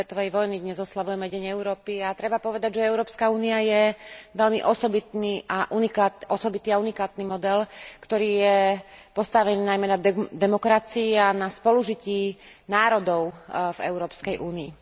2. svetovej vojny, dnes oslavujeme Deň Európy a treba povedať, že Európska únia je veľmi osobitý a unikátny model, ktorý je postavený najmä na demokracii a na spolužití národov v Európskej únii.